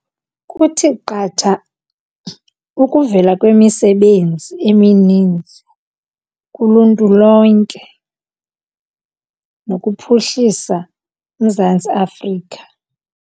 Kuthi qatha ukuvela kwemisebenzi emininzi kuluntu lonke nokuphuhlisa uMzantsi Afrika.